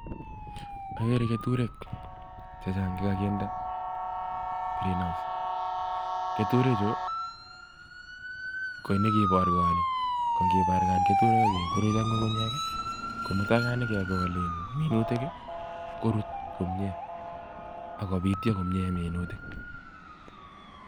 Agere keturek chechaang che ka kinde (greenhouse). Keturek chuu kii parkani ake puruch ak ngungunyek mutai ka kigol minutik ko rutu komyie ako pityo